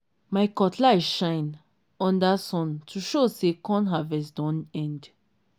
my cutlass shine under sun to show say corn harvest don end.